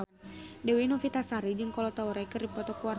Dewi Novitasari jeung Kolo Taure keur dipoto ku wartawan